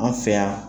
An fɛ yan